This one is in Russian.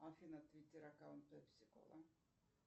афина твиттер аккаунт пепси кола